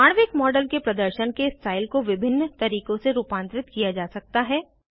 आणविक मॉडल के प्रदर्शन के स्टाइल को विभिन्न तरीकों से रूपांतरित किया जा सकता है